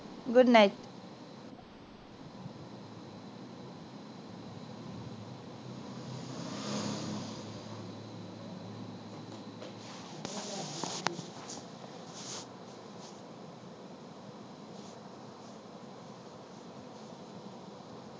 good night